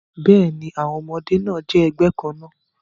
Bẹ́ẹ̀ni, àwọn ọmọdé náà jẹ́ ẹgbẹ́ kan náà